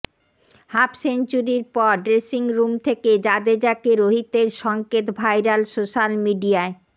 হাফসেঞ্চুরির পর ড্রেসিংরুম থেকে জাডেজাকে রোহিতের সঙ্কেত ভাইরাল সোশ্যাল মিডিয়ায়